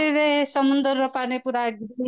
ସେଥିରେ ସମୁଦ୍ର ପାନିପୁରା